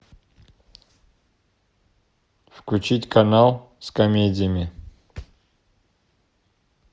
включить канал с комедиями